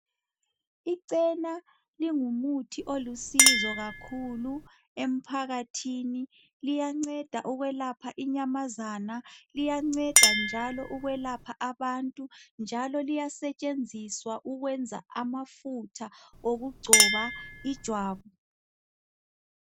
Ichena lingumuthi olusizo kakhulu emphakathini liyanceda ukwelapha inyamazana, liyanceda njalo ukwelapha abantu njalo liyasetshenziswa ukwenza amafutha okugcoba ijwabu.